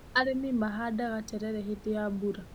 Arĩmi mahandaga terere hĩndĩ ya mbura.